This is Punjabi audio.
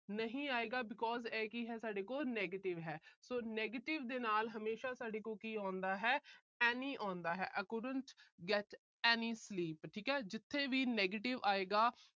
ਨਹੀਂ ਆਏਗਾ because ਇਹ ਕੀ ਹੈ ਸਾਡੇ ਕੋਲ negative ਹੈ। so negative ਦੇ ਨਾਲ ਹਮੇਸ਼ਾ ਸਾਡੇ ਕੋਲ ਕੀ ਆਉਂਦਾ ਹੈ। any ਆਉਂਦਾ ਹੈ। I could not get any sleep ਠੀਕ ਹੈ। ਜਿੱਥੇ ਵੀ negative ਆਏਗਾ